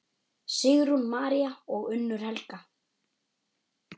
Sigrún María og Unnur Helga.